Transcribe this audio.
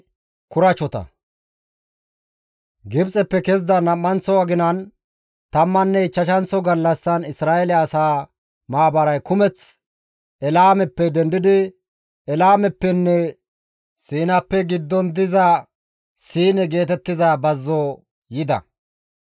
Gibxeppe kezida nam7anththo aginan, tammanne ichchashanththo gallassan Isra7eele asaa maabaray kumeth Elaameppe dendi biidi Eelaameppenne Siinappe giddon diza Siine geetettiza bazzo yida.